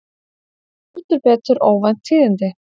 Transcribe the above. Heldur betur óvænt tíðindi